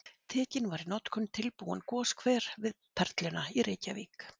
Tekinn var í notkun tilbúinn goshver við Perluna í Reykjavík.